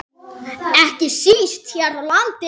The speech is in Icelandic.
Ekki síst hér á landi.